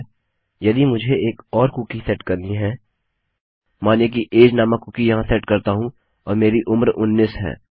ठीक है यदि मुझे एक और कुकी सेट करनी है मानिए कि अगे नामक कुकी यहाँ सेट करता हूँ और मेरी उम्र 19 है